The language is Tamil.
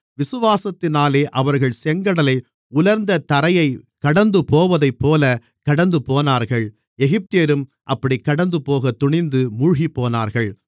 விசுவாசத்தினாலே அவர்கள் செங்கடலை உலர்ந்த தரையைக் கடந்துபோவதைப்போலக் கடந்துபோனார்கள் எகிப்தியரும் அப்படிக்கடந்துபோகத் துணிந்து மூழ்கிப்போனார்கள்